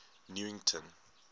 newington